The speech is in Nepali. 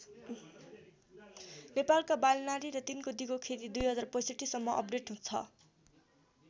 नेपालका बालीनाली र तिनको दिगो खेती २०६५ सम्म अपडेट छ।